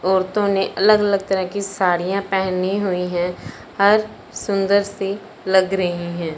औरतों ने अलग अलग तरह की साड़ियां पेहनी हुईं हैं और सुंदरसी लग रही है।